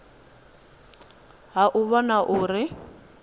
ha u u vhona uri